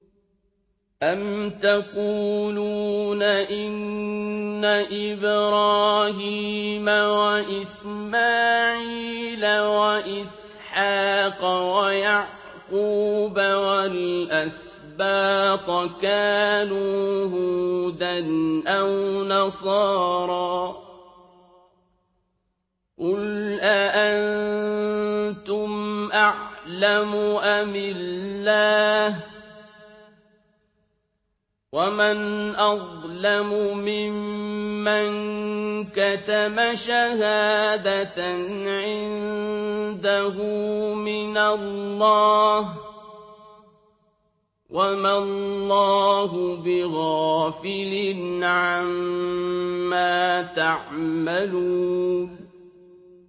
أَمْ تَقُولُونَ إِنَّ إِبْرَاهِيمَ وَإِسْمَاعِيلَ وَإِسْحَاقَ وَيَعْقُوبَ وَالْأَسْبَاطَ كَانُوا هُودًا أَوْ نَصَارَىٰ ۗ قُلْ أَأَنتُمْ أَعْلَمُ أَمِ اللَّهُ ۗ وَمَنْ أَظْلَمُ مِمَّن كَتَمَ شَهَادَةً عِندَهُ مِنَ اللَّهِ ۗ وَمَا اللَّهُ بِغَافِلٍ عَمَّا تَعْمَلُونَ